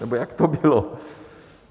Nebo jak to bylo?